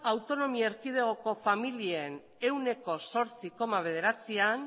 autonomi erkidegoko familien ehuneko zortzi koma bederatzian